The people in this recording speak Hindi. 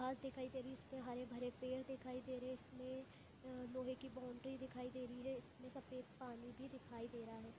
घास दिखाई दे रही है इसपे हरे-भरे पेड़ दिखाई दे रहे है इसमें आ-- लोहे की बौंडरी दिखाई दे रही है इसमें सफ़ेद पानी भी दिखाई दे रहा है।